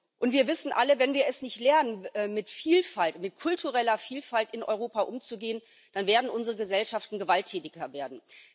Und wir wissen alle Wenn wir es nicht lernen, mit Vielfalt, mit kultureller Vielfalt in Europa umzugehen, dann werden unsere Gesellschaften gewalttätiger werden.